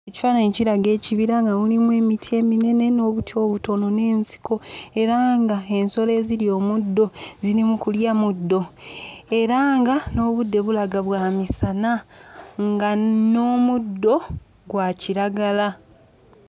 Ekifaananyi kiraga ekibira nga mulimu emiti eminene n'obuti obutono n'ensiko era nga ensolo ezirya omuddo ziri mu kulya muddo era nga n'obudde bulaga bwa misana nga n'omuddo gwa kiragala.